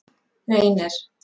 Reynir